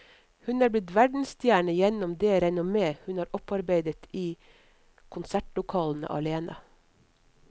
Hun er blitt verdensstjerne gjennom det renommé hun har opparbeidet i konsertlokaler alene.